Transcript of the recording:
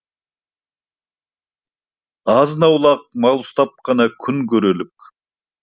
азын аулақ мал ұстап қана күн көрерлік